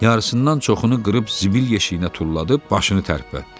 Yarısından çoxunu qırıb zibil yeşiyinə tullayıb başını tərpətdi.